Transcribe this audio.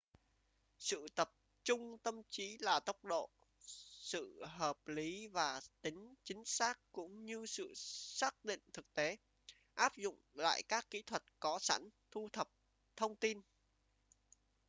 sự tập trung tâm trí là tốc độ sự hợp lý và tính chính xác cũng như sự xác định thực tế áp dụng lại các kỹ thuật có sẵn thu thập thông tin